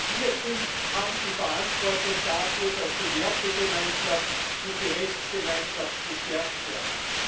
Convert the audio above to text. Wir haben die Verantwortung dafür, dass die Wertegemeinschaft und die Rechtsgemeinschaft gestärkt werden.